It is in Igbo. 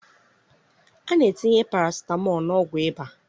A na-etinye parasitamọl n'ọgwụ ịba.